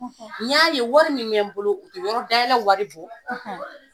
N y'a ye wari min yen bolo o tɛ yɔrɔ dayɛlɛ wari bɔ;